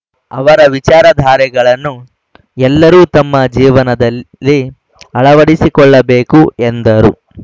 ಅವರ ವಿಚಾರಧಾರೆಗಳನ್ನು ಎಲ್ಲರೂ ತಮ್ಮ ಜೀವನದಲ್ಲಿ ಅಳವಡಿಸಿಕೊಳ್ಳಬೇಕು ಎಂದರು